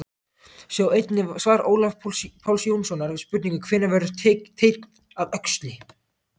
Sjá einnig svar Ólafs Páls Jónssonar við spurningunni Hvenær verður teinn að öxli?